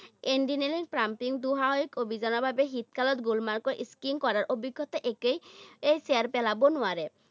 Engineering pumping, দুঃসাহসিক অভিজ্ঞতাৰ বাবে শীতকালত গুলমাৰ্গৰ skiing কৰাৰ অভিজ্ঞতা একেই এই চেৰ পেলাব নোৱাৰে।